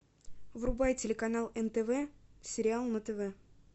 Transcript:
врубай телеканал нтв сериал на тв